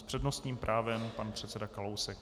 S přednostním právem pan předseda Kalousek.